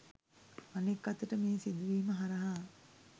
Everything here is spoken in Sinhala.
අනෙක් අතට මේ සිදුවීම හරහා